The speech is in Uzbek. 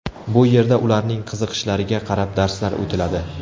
Bu yerda ularning qiziqishlariga qarab darslar o‘tiladi.